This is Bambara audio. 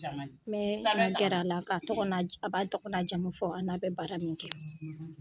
N bɛɛ n jɛrɛ a la ka tɔgɔ a b'a tɔgɔ na jamu fɔ a n'a bɛ baara min kɛ.